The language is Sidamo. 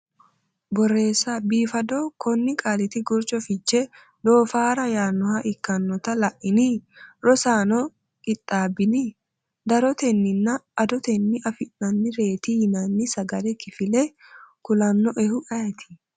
Borreessa biifado, Konni qaaliti gurcho fiche doofaara yaannoha ikkitanno la’ino? Rosaano qixxaabbini? darotenninna adotenni afi’nannireeti yinanni sagale kifilla kulannoehu ayeeti?